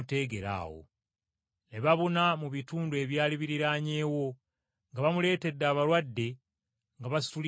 Ne babuna mu bitundu ebyali biriraanyeewo nga bamuleetera abalwadde nga basituliddwa ku butanda.